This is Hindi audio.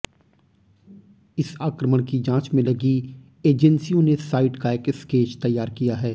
इस आक्रमण की जांच में लगी एजेंसियों ने साइट का एक स्केच तैयार किया है